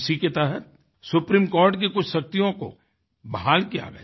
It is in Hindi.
इसी के तहत सुप्रीमकोर्ट की कुछ शक्तियों को बहाल किया गया